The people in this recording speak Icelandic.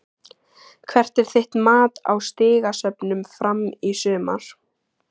Hvert er þitt mat á stigasöfnun Fram í sumar?